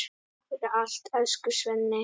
Takk fyrir allt, elsku Svenni.